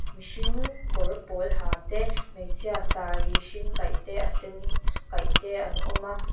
mihring kawr pawl ha te hmeichhia saree hring kaih te a sen kaih te an awm a.